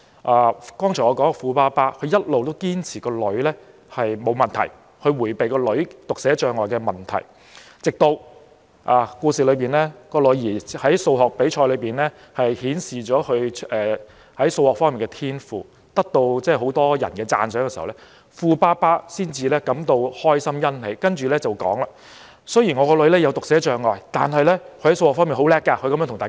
我剛才說的富爸爸一直堅持女兒沒有問題，他迴避女兒患有讀寫障礙的問題，直至故事中女兒在數學比賽裏顯示她在數學方面的天賦，得到很多人讚賞時，富爸爸感到開心和欣喜，才對大家說：雖然我的女兒患有讀寫障礙，但她在數學方面很強。